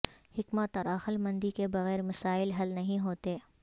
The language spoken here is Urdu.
حکمت اور عقل مندی کے بغیر مسائل حل نہیں ہوتے